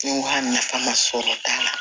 nafa sɔrɔ t'a la